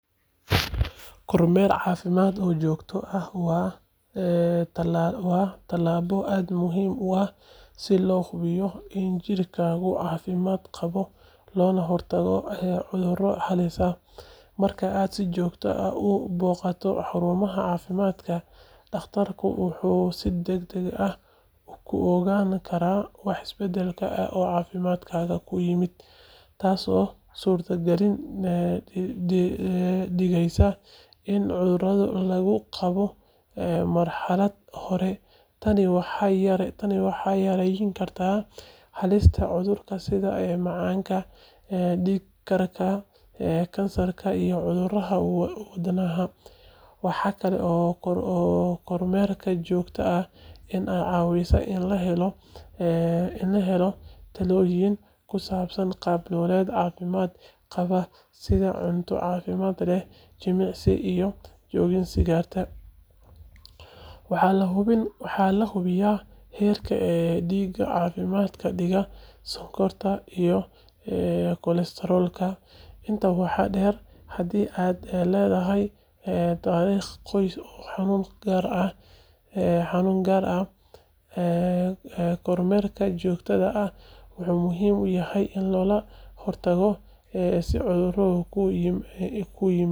Kormeer caafimaad oo joogto ah waa tallaabo aad muhiim u ah si loo hubiyo in jirkaagu caafimaad qabo loona hortago cudurro halis ah. Marka aad si joogto ah u booqato xarunta caafimaadka, dhakhtarku wuxuu si degdeg ah ku ogaan karaa wax isbeddel ah oo caafimaadkaaga ku yimid, taasoo suurtogal ka dhigaysa in cudurrada lagu qabto marxalad hore. Tani waxay yareyn kartaa halista cudurro sida macaanka, dhiig karka, kansarka iyo cudurrada wadnaha. Waxaa kale oo kormeerka joogtada ahi kaa caawinayaa in la helo talooyin ku saabsan qaab-nololeed caafimaad qaba sida cunto caafimaad leh, jimicsi iyo joojinta sigaarka. Waxaa la hubiyaa heerka dhiigga, cadaadiska dhiigga, sonkorta iyo kolestaroolka. Intaa waxaa dheer, haddii aad leedahay taariikh qoys oo xanuun gaar ah, kormeerka joogtada ah wuxuu muhiim u yahay si looga hortago in cudurkaasi kuu yimaado.